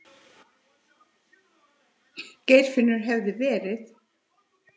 Geirfinnur hefði verið.